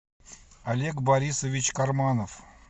олег борисович карманов